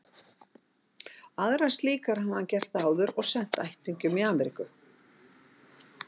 Aðrar slíkar hafði hann gert áður og sent ættingjum í Amríku.